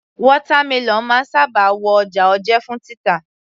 Watermelon máa ń sábà wọ ọjà òjé fún títà